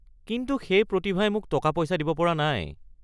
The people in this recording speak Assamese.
কিন্তু সেই প্ৰতিভাই মোক টকা-পইচা দিব পৰা নাই।